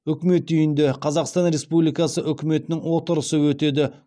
үкімет үйінде қазақстан республикасы үкіметінің отырысы өтеді